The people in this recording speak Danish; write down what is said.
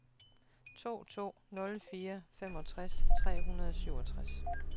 to to nul fire femogtres tre hundrede og syvogtres